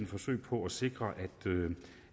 forsøg på at sikre